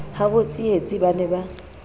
habo tsietsi ba ne ba